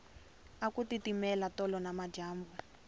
aku titimela tolo nimadyambu